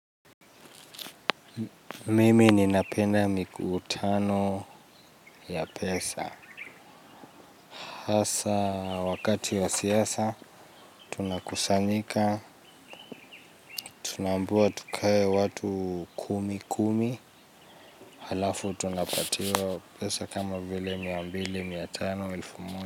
Mimi ninapenda mikutano ya pesa. Hasaa wakati wa siasa tunakusanyika, tunaambiwa tukae watu kumi kumi, halafu tunapatiwa pesa kama vile mia mbili, mia tano, elfu m.